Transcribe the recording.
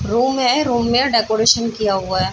Room है room में decoration किया हुआ है।